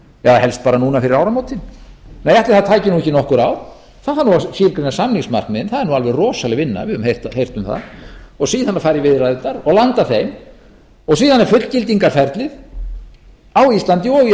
eða helst bara núna fyrir áramótin nei ætli það tæki ekki nokkur ár það þarf að skilgreina samningsmarkmiðin það er alveg rosaleg vinna við höfum heyrt um það og síðan fara í viðræðurnar og landa þeim og síðan er fullgildingarferlið á íslandi og í öllu